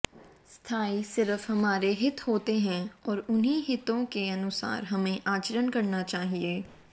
स्थायी सिर्फ हमारे हित होते हैं और उन्हीं हितों के अनुसार हमें आचरण करना चाहिए